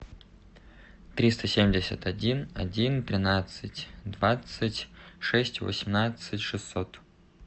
триста семьдесят один один тринадцать двадцать шесть восемнадцать шестьсот